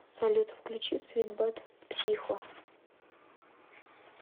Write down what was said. салют включи свит бат психо